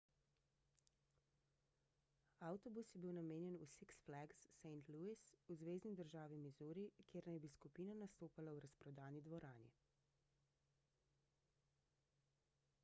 avtobus je bil namenjen v six flags st louis v zvezni državi misuri kjer naj bi skupina nastopala v razprodani dvorani